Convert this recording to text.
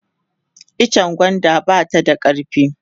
itchen gwanda ba ta da karfi